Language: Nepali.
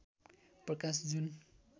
प्रकाश जुन